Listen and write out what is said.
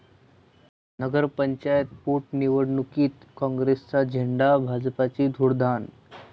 नगर पंचायत पोटनिवडणुकीत काँग्रेसचा झेंडा, भाजपची धुळदाण